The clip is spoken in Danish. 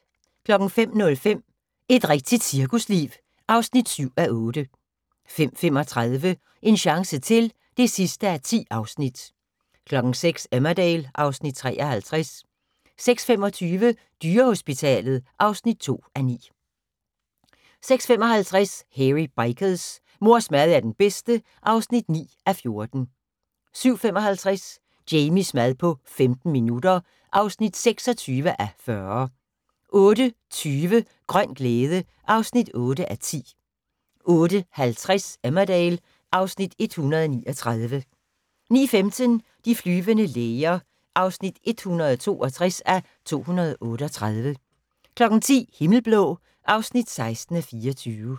05:05: Et rigtigt cirkusliv (7:8) 05:35: En chance til (10:10) 06:00: Emmerdale (Afs. 53) 06:25: Dyrehospitalet (2:9) 06:55: Hairy Bikers: Mors mad er den bedste (9:14) 07:55: Jamies mad på 15 minutter (26:40) 08:20: Grøn glæde (8:10) 08:50: Emmerdale (Afs. 139) 09:15: De flyvende læger (162:238) 10:00: Himmelblå (16:24)